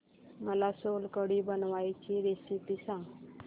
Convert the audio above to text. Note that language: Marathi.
मला सोलकढी बनवायची रेसिपी सांग